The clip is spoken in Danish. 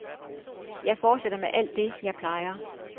Jeg fortsætter med alt det, jeg plejer.